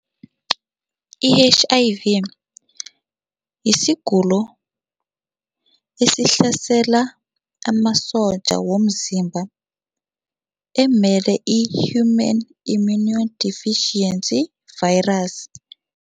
I-H_I_V yisigulo esihlasela amasotja womzimba emele i-Human Immunodeficiency Virus.